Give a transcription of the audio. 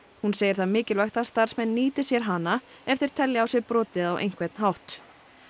hún segir það mikilvægt að starfsmenn nýti sér hana ef þeir telji á sér brotið á einhvern hátt